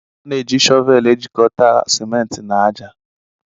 A na-eji shọvel ejikọta ciment na ájá.